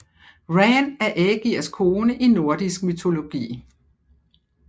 Ran er Ægirs kone i nordisk mytologi